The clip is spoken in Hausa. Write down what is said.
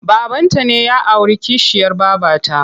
Babanta ne ya auri kishiyar babata.